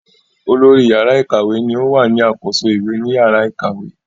Olórí yàrá ìkàwé ni o wà ní àkóso ìwé ni yàrá ìkàwé